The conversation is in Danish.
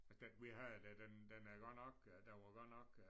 Altså den vi havde der den den havde godt nok den var godt nok øh